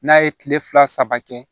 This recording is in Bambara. N'a ye kile fila saba kɛ